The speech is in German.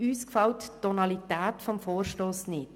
Uns gefällt die Tonalität des Vorstosses nicht.